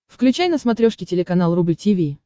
включай на смотрешке телеканал рубль ти ви